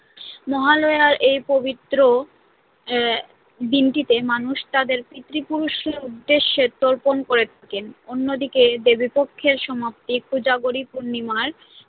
মহালয়ার এই পবিত্র আহ দিনটিতে মানুষ তাদের পিতৃপুরুষের উদ্দেশ্যে তর্পণ করে থাকেন, অন্যদিকে দেবীপক্ষের সমাপ্তি কোজাগরী পূর্ণিমার